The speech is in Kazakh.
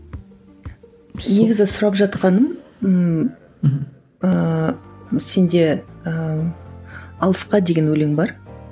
негізгі сұрап жатқаным ыыы мхм ыыы сенде ыыы алысқа деген өлең бар